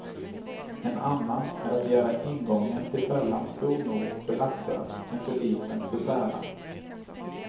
En annan är att göra ingången till fällan stor nog för laxar men för liten för sälar.